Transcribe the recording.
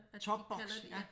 Topboks ja